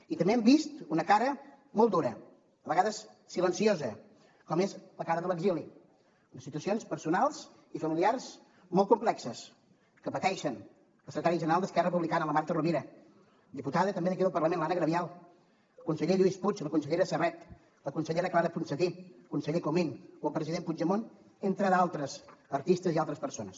i també hem vist una cara molt dura a vegades silenciosa com és la cara de l’exili unes situacions personals i familiars molt complexes que pateixen la secretària general d’esquerra republicana la marta rovira diputada també d’aquí del parlament l’anna gabriel el conseller lluís puig la consellera serret la consellera clara ponsatí el conseller comín o el president puigdemont entre d’altres artistes i altres persones